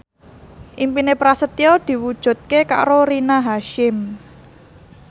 impine Prasetyo diwujudke karo Rina Hasyim